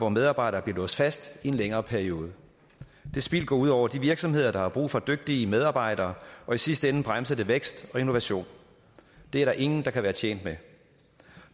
at medarbejdere bliver låst fast i en længere periode det spild går ud over de virksomheder der har brug for dygtige medarbejdere og i sidste ende bremser det vækst og innovation det er der ingen der kan være tjent med